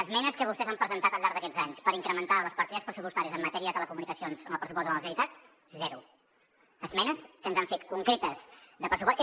esmenes que vostès han presentat al llarg d’aquests anys per incrementar les partides pressupostàries en matèria de telecomunicacions en el pressupost de la generalitat zero esmenes que ens han fet concretes de pressupost